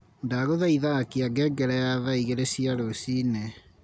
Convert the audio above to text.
Ndaguthaitha akia ngengere ya thaa igiri cia ruciini